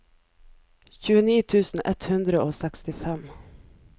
tjueni tusen ett hundre og sekstifem